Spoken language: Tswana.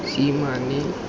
seesimane